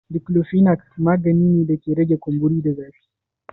Diklofinak magani ne da ke rage kumburi da zafi.